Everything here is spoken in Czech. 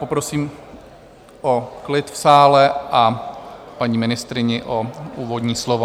Poprosím o klid v sále a paní ministryni o úvodní slovo.